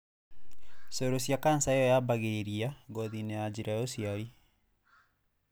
Cello cia cancer io yambĩragĩrĩria gothiinĩ ya njĩra ya ũciari.